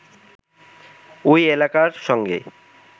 ওই এলাকার সঙ্গে